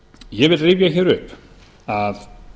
ég vil rifja upp að